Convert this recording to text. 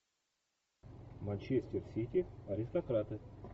манчестер сити аристократы